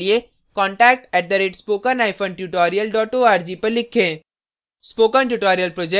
अधिक जानकारी के लिए contact @spokentutorial org पर लिखें